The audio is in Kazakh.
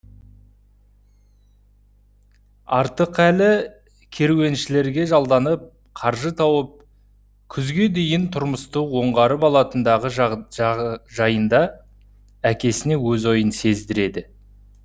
артықәлі керуеншілерге жалданып қаржы тауып күзге дейін тұрмысты оңғарып алатындығы жайында әкесіне өз ойын сездіреді